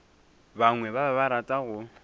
bangwe ba be ba rata